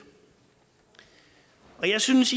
jeg synes